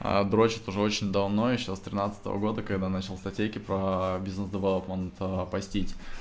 а дрочит уже очень давно ещё раз тринадцатого года когда начал статейки про бизнес-план простить